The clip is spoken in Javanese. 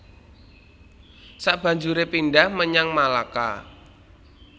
Sabanjuré pindhah menyang Malaka